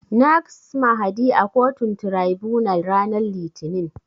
Nags Mahdi a kotun Tiraibunal ranar Litinin.